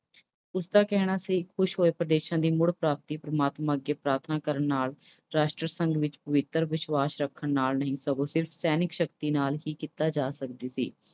ਉਸਦਾ ਕਹਿਣਾ ਸੀ ਕਿ ਕੁਝ ਹੋਰ ਪ੍ਰਦੇਸ਼ਾਂ ਦੀ ਮੁੜ ਪ੍ਰਾਪਤੀ ਪਰਮਾਤਮਾ ਅੱਗੇ ਪ੍ਰਾਰਥਨਾ ਕਰਨ ਨਾਲ ਜਾਂ ਰਾਸ਼ਟਰ ਸੰਧੀ ਵਿੱਚ ਪਵਿੱਤਰ ਵਿਸ਼ਵਾਸ ਰੱਖਣ ਨਾਲ ਨਹੀਂ ਸਗੋਂ ਸਿਰਫ ਸੈਨਿਕ ਸ਼ਕਤੀ ਨਾਲ ਹੀ ਕੀਤੀ ਜਾ ਸਕਦੀ ਸੀ।